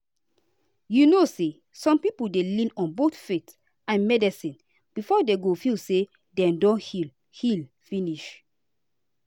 you know say some people dey lean on both faith and medicine before dem go feel say dem don heal heal finish.